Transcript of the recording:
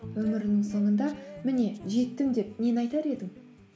өміріңнің соңында міне жеттім деп нені айтар едің